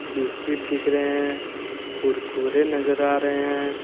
Biscuit दिख रहे हैं कुरकुरे नजर आ रहे हैं।